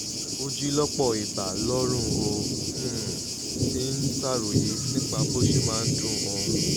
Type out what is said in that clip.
ó jí lọ́pọ̀ ìgbà lóru ó um sì ń ṣàròyé nípa bó ṣe máa ń dun òun